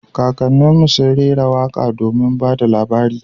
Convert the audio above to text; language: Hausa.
Kakannin mu sun rera waka domin ba da labari